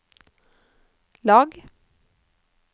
lag